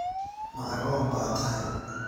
Ma agoon ba tahay?